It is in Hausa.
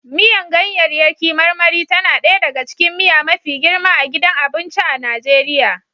Miyar ganyaryaki marmari tana ɗaya daga cikin miya mafi girma a gidan abinci a Najeriya